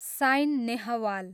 sign Nehwal